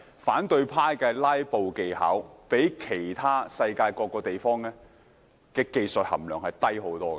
反對派的"拉布"技巧相較世界其他地方的技術含量低得多。